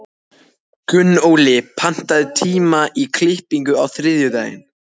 Gunnóli, pantaðu tíma í klippingu á þriðjudaginn.